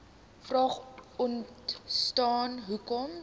vraag ontstaan hoekom